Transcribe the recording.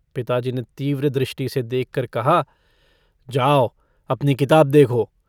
पिताजी ने तीव्र दृष्टि से देखकर कहा - जाओ, अपनी किताब देखो।